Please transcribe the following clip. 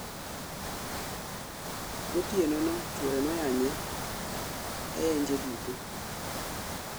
Gotieno no chwore noyanye ayanje duto